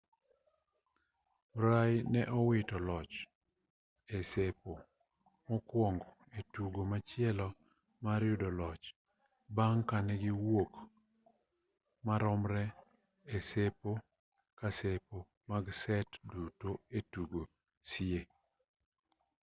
murray ne owito loch e sepo mokuongo e tugo machielo mar yudo jaloch bang' ka ne giwuok maromre e sepo ka sepo mag set duto e tugo sie